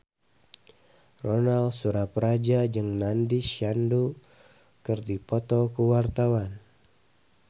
Ronal Surapradja jeung Nandish Sandhu keur dipoto ku wartawan